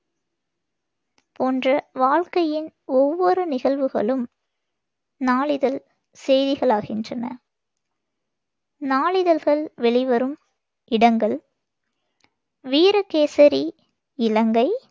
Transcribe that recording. போன்ற வாழ்க்கையின் ஒவ்வொரு நிகழ்வுகளும் நாளிதழ் செய்திகளாகின்றன நாளிதழ்கள் வெளிவரும் இடங்கள் வீரகேசரி இலங்கை,